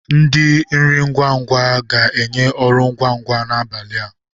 Ndi nri ngwa ngwa ga-enye ọrụ ngwa ngwa n'abalị a.